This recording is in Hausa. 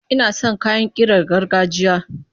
Ina son kayan ƙirar gargajiya.